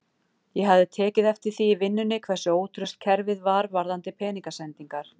Ég hafði tekið eftir því í vinnunni hversu ótraust kerfið var varðandi peningasendingar.